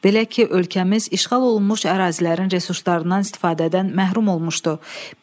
Belə ki, ölkəmiz işğal olunmuş ərazilərin resurslarından istifadədən məhrum olmuşdu.